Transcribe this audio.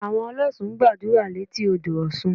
Àwọn ọlọ́ṣun ń gbàdúrà létí odò Ọ̀ṣun